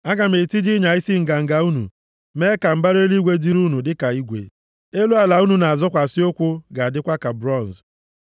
Aga m etiji ịnya isi nganga unu, mee ka mbara eluigwe dịịrị unu dịka igwe, elu ala unu na-azọkwasị ụkwụ ga-adịkwa dịka bronz.